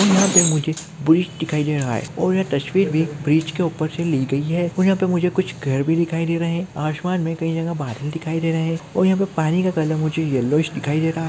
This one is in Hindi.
यहां पर मुझे ब्रिज दिखाई दे रहा है और यह तस्वीर भी ब्रिज के ऊपर से ही ली गई है मुझे यहां पर मुझे कुछ घर भी दिखाई दे रहे हैं आसमान में कई जगह बादल दिखाई दे रहे हैं और यहां पर मुझे पानी का कलर येलोविश दिखाई दे रहा है।